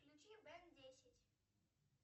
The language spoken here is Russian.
включи бен десять